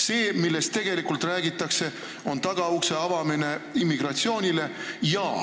See, millest tegelikult räägitakse, on tagaukse avamine immigratsioonile.